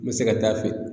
N bɛ se ka taa feere